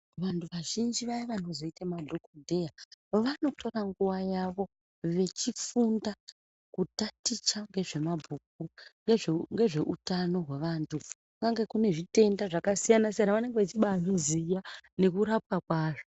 Vantu vazhinji vaya vano zoite madhokodheya vanotora nguva yavo vechi funda kutaticha ngezve mabhuku ngezve utano hwe vantu kungange kune zvitenda zvaka siyana siyana vanenge veichibai zviziya neku rapwa kwazvo.